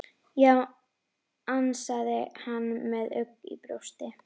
Já, ansaði hann með ugg í brjósti.